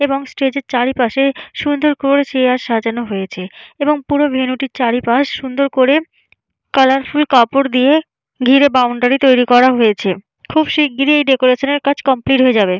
এবং স্টেজ -এর চারিপাশে সুন্দর করে চেয়ার সাজানো হয়েছে এবং পুরো ভেনু টির চারি পাশ সুন্দর করে কালারফুল কাপড় দিয়ে ঘিরে বাউন্ডারি তৈরি করা হয়েছে। খুব শিগগিরি এই ডেকরেশনের কাজ কমপ্লিট হয়ে যাবে।